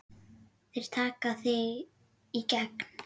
Þeir taka þig í gegn!